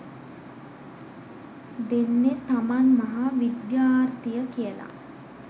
දෙන්නෙ තමන් මහ විද්‍යාර්ථිය කියල